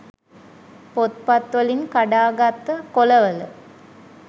පොත් වලින් කඩා ගත්ත කොල වල